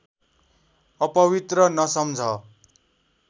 अपवित्र नसम्झ